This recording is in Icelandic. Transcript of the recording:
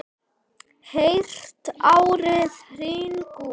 Heyrt árið hringt út.